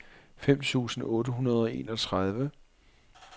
fem tusind otte hundrede og enogtredive